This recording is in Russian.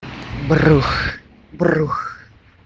брух брух